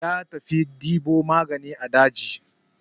Ya tafi ɗebo magani a daji.